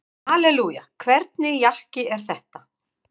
Hallelúja, hvernig jakki er þetta?